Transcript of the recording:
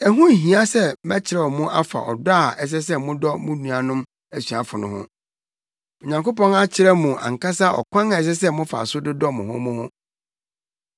Ɛho nhia sɛ mɛkyerɛw mo afa ɔdɔ a ɛsɛ sɛ modɔ mo nuanom asuafo no ho. Onyankopɔn akyerɛ mo ankasa ɔkwan a ɛsɛ sɛ mofa so dodɔ mo ho mo ho.